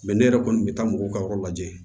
ne yɛrɛ kɔni bɛ taa mɔgɔw ka yɔrɔ lajɛ